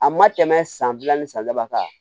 A ma tɛmɛ san fila ni san saba kan